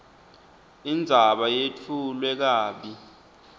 indzaba yetfulwe kabi